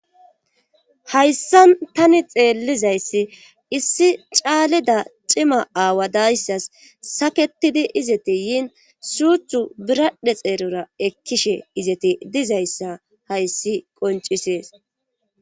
Hayssan tani xeellizayssi issi caaledi cimma aawa dayssas saketidi izete yiin suuththu biradhe xeerara ekkishe izete dizayssa hayssi qoncisees